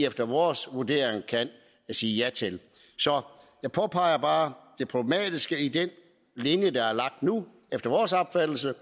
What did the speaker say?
efter vores vurdering kan siges ja til så jeg påpeger bare det problematiske i den linje der efter vores opfattelse